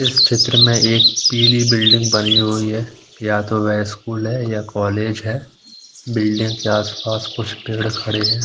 इस चित्र में एक पीली बिल्डिंग बनी हुई है या तो वह स्कूल है या कॉलेज है बिल्डिंग के आस-पास क्छ पेड़ खड़े हुए हैं।